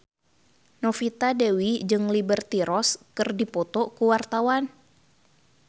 Novita Dewi jeung Liberty Ross keur dipoto ku wartawan